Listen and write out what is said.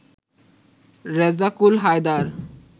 Rezzakul Haider